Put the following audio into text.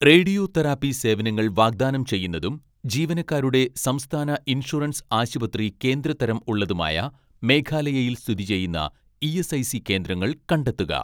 Radio therapy സേവനങ്ങൾ വാഗ്‌ദാനം ചെയ്യുന്നതും ജീവനക്കാരുടെ സംസ്ഥാന ഇൻഷുറൻസ് ആശുപത്രി കേന്ദ്ര തരം ഉള്ളതുമായ മേഘാലയയിൽ സ്ഥിതി ചെയ്യുന്ന ഇ.എസ്.ഐ.സി കേന്ദ്രങ്ങൾ കണ്ടെത്തുക.